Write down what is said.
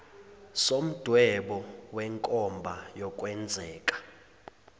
somdwebo wenkomba yokwenzeka